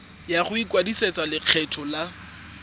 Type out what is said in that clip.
ya go ikwadisetsa lekgetho la